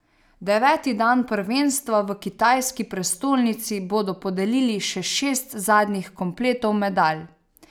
Deveti dan prvenstva v kitajski prestolnici bodo podelili še šest zadnjih kompletov medalj.